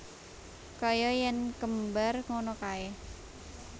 Kaya yen kembar ngono kae